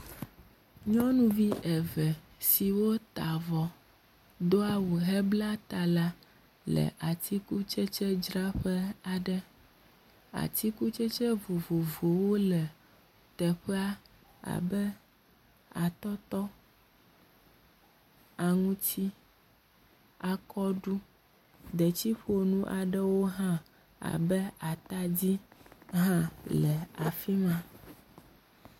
Nyɔnuvi eve siwo ta avɔ, do awu hebla ta la le atikutsetsedzraƒe aɖe. Atikutsetse vovovowo le teƒea abe atɔtɔ, aŋuti, akɔɖu, detsiƒonu aɖewo hã abe atadi hã le afi ma.